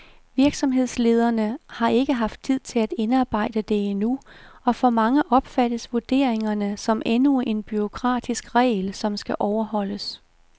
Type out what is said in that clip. Virksomhederne har ikke haft tid til at indarbejde det endnu og for mange opfattes vurderingerne som endnu en bureaukratisk regel, som skal overholdes.